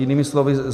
Jinými slovy.